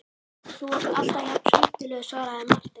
Þú ert alltaf jafn skemmtilegur, svaraði Marteinn.